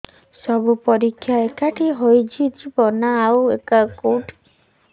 ସବୁ ପରୀକ୍ଷା ଏଇଠି ହେଇଯିବ ନା ଆଉ କଉଠି ଦେଖେଇ ବାକୁ ପଡ଼ିବ